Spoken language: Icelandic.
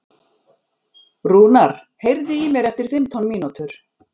Rúnar, heyrðu í mér eftir fimmtán mínútur.